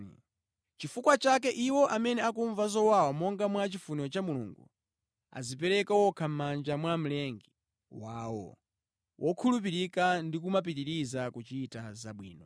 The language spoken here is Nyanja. Nʼchifukwa chake, iwo amene akumva zowawa monga mwa chifuniro cha Mulungu, adzipereke okha mʼmanja mwa Mlengi wawo wokhulupirika ndi kumapitiriza kuchita zabwino.